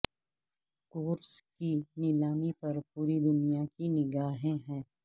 course کی نیلامی پر پوری دنیا کی نگاہیں ہیں